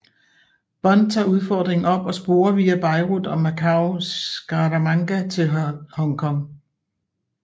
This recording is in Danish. Bond tager udfordringen op og sporer via Beirut og Macau Scaramanga til Hong Kong